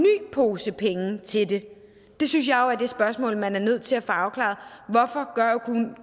pose penge til det det synes jeg jo er det spørgsmål man er nødt til at få afklaret hvorfor gør